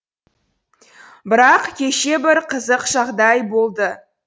бірақ кеше бір қызық жағдай болды